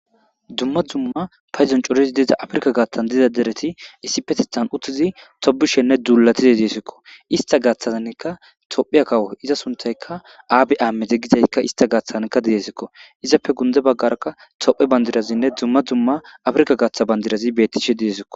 dumma dumma payzon corizi deeza afrika gaaththan dida dereti issi petithan uttizi topishenne duulatize deesikko ista gaaththazanka tophiya kawo iza suntayka aabi aamede gizaykka ista gaaththazankka didesikko izappe gunde baggaraka tophe bandirazinne dumma dzumma afrika gaththa bandirazi bettishe didesikko